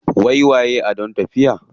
Waiwaye adon tafiya.